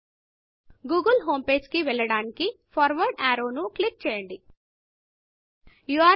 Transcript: Google homepageగూగుల్ హోమ్పేజీకి వెళ్ళడానికి ఫార్వర్డ్ అర్రో ఫార్వర్డ్ యారో ను క్లిక్ చేయండి